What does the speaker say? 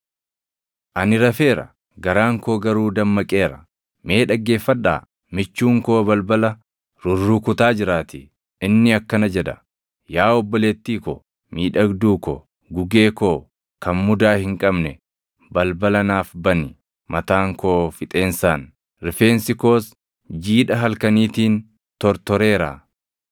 Ani rafeera; garaan koo garuu dammaqeera. Mee dhaggeeffadhaa! Michuun koo balbala rurrukutaa jiraatii; inni akkana jedha; “Yaa obboleettii ko, miidhagduu ko, gugee koo kan mudaa hin qabne, balbala naaf bani. Mataan koo fixeensaan, rifeensi koos jiidha halkaniitiin tortoreera.”